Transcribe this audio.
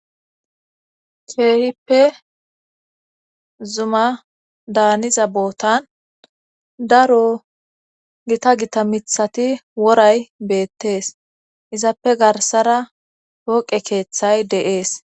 Keehippe zuma daaniza bootan daro gita gita mithati woray beettees izappe garsara hooqe keeththay deees